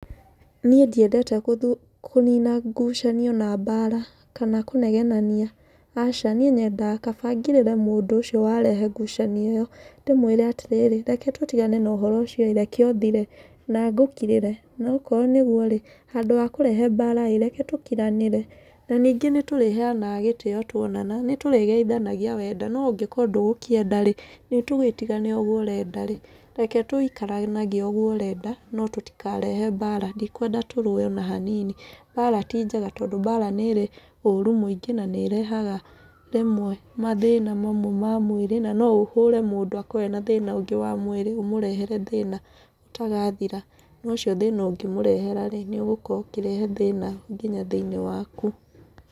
Niĩ ndiendete kũnina ngucanio na mbaara, kana kũnegenania, aca. Niĩ nyendaga kaba ngirĩre mũnd ũcio warehe ngucanio ĩyo, ndĩmũĩre atĩrĩrĩ, reke tũtigane na ũhoro ũcio ĩĩ, reke ũthire na ngũkirĩre. Na okorwo nĩ ũguo rĩ, handũ wa kũrehe mbaara ĩĩ reke tũkiranĩre. Na ningĩ nĩ tũreheanaga gĩtĩo tuonana. Nĩ tũrĩgeithanagia wenda, no ũngĩkorwo ndũgũkĩenda rĩ, nĩ tũgĩtigane ũguo ũrenda rĩ, reke tũikaranagie ũguo ũrenda, no tũtikarehe mbaara. Ndikwenda tũrũe ona hanini. Mbaara ti njega tondũ mbaara nĩ ĩrĩ ũũru mũingĩ, na nĩ ĩrehaga rĩmwe mathĩna mamwe ma mwĩrĩ, na no ũhũre mũndũ akorwo ena thĩna ũngĩ wa mwĩrĩ ũmũrehere thĩna ũtarathira. Na ũcio thĩna ũngĩmũrehra rĩ, nĩ ũgũkorwo ũkĩrehe thĩna nginya thĩiniĩ waku.